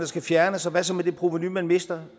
skal fjernes og hvad så med det provenu man mister